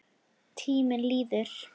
Tíminn líður.